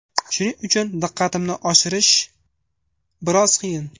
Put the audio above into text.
Shuning uchun diqqatimni oshirish biroz qiyin.